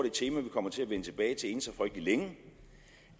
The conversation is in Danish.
et tema vi kommer til at vende tilbage til inden så frygtelig længe